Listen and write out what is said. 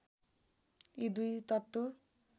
यी दुई तत्त्व